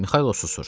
Mixaylov susdu.